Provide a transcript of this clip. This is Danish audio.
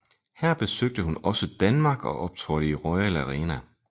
Her besøgte hun også Danmark og optrådte i Royal Arena